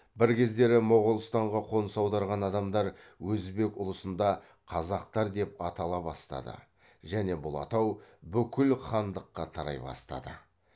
бір кездері моғолстанға қоныс аударған адамдар өзбек ұлысында қазақтар деп атала бастады және бұл атау бүкіл хандыққа тарай бастады